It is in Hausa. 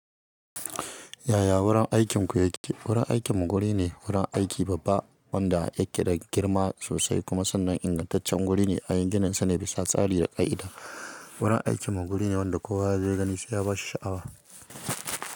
Yaya wurin aikinku yake? Wurin aikinmu guri ne, wurin aiki babba wanda ya keda girma sosai kuma sannan ingantaccen guri ne. Ayigini sane bisa tsari da ƙa'ida. Wurin aikinmu guri ne wanda kowa zai gani sai ya ba shi sha'awa.